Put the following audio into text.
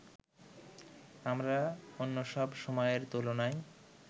আমরা অন্যসব সময়ের তুলনায়